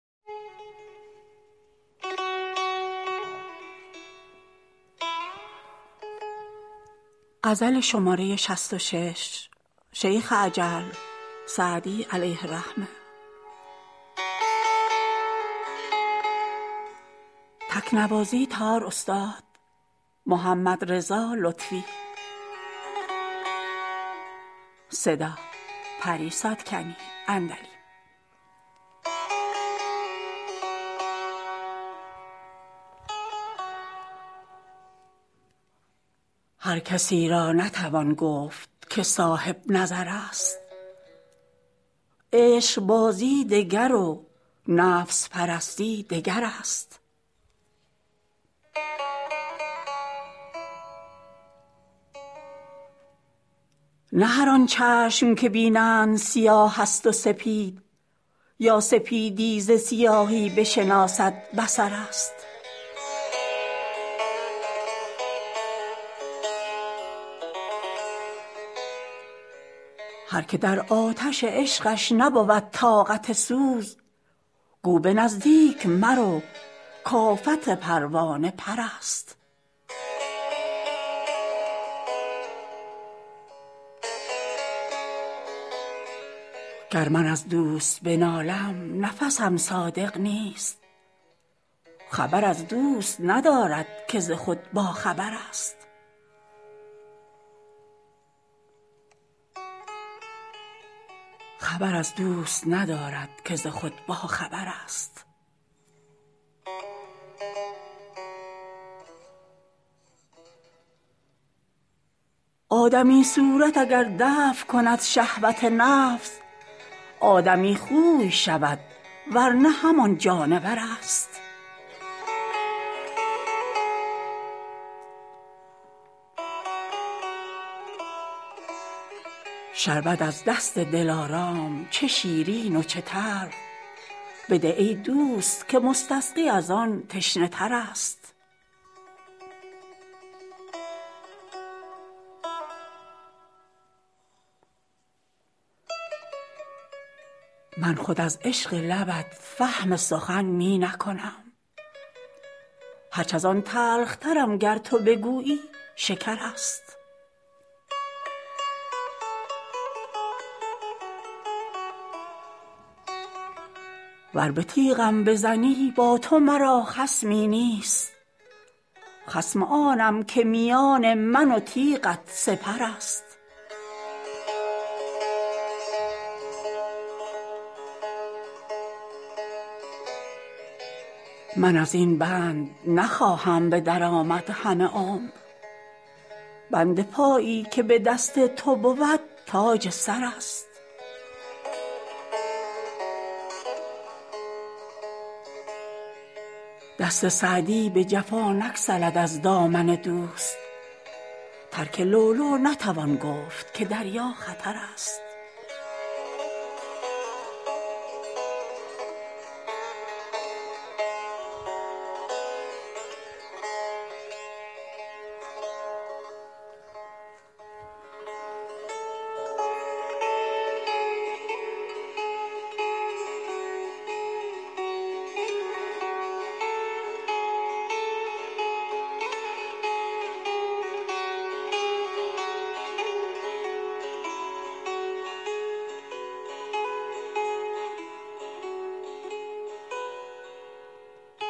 هر کسی را نتوان گفت که صاحب نظر است عشقبازی دگر و نفس پرستی دگر است نه هر آن چشم که بینند سیاه است و سپید یا سپیدی ز سیاهی بشناسد بصر است هر که در آتش عشقش نبود طاقت سوز گو به نزدیک مرو کآفت پروانه پر است گر من از دوست بنالم نفسم صادق نیست خبر از دوست ندارد که ز خود باخبر است آدمی صورت اگر دفع کند شهوت نفس آدمی خوی شود ور نه همان جانور است شربت از دست دلارام چه شیرین و چه تلخ بده ای دوست که مستسقی از آن تشنه تر است من خود از عشق لبت فهم سخن می نکنم هرچ از آن تلخترم گر تو بگویی شکر است ور به تیغم بزنی با تو مرا خصمی نیست خصم آنم که میان من و تیغت سپر است من از این بند نخواهم به در آمد همه عمر بند پایی که به دست تو بود تاج سر است دست سعدی به جفا نگسلد از دامن دوست ترک لؤلؤ نتوان گفت که دریا خطر است